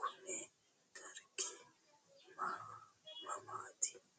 kuni dargu mamaati?